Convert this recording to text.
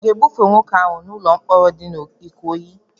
Aga-ebufe nwoke ahụ n'ụlọ mkpọrọ di na Ikoyi?